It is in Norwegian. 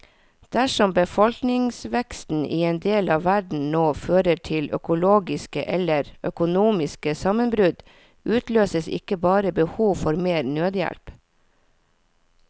Dersom befolkningsveksten i en del av verden nå fører til økologiske eller økonomiske sammenbrudd, utløses ikke bare behov for mer nødhjelp.